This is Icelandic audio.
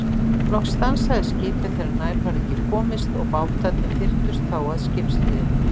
Loks stansaði skipið þegar nær varð ekki komist og bátarnir þyrptust þá að skipshliðinni.